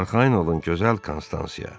Arxayın olun gözəl Konstansiya.